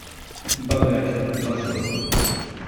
богачо маршрут